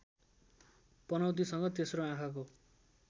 पनौतीसँग तेस्रो आँखाको